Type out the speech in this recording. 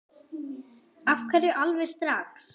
Af hverju alveg strax?